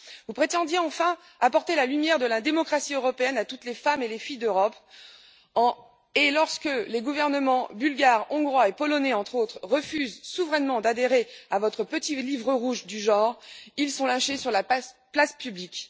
Vous prétendez enfin apporter la lumière de la démocratie européenne à toutes les femmes et les filles d'Europe, et lorsque les gouvernements bulgares, hongrois et polonais, entre autres, refusent souverainement d'adhérer à votre petit livre rouge du genre, ils sont lynchés sur la place publique.